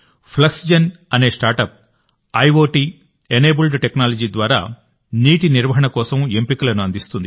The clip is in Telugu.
ఫ్లక్స్జెన్ అనే స్టార్ట్అప్ ఐఒటీ ఎనేబుల్డ్ టెక్నాలజీ ద్వారా నీటి నిర్వహణ కోసం ఎంపికలను అందిస్తుంది